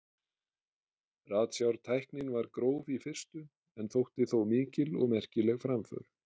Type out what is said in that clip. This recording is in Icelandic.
ratsjártæknin var gróf í fyrstu en þótti þó mikil og merkileg framför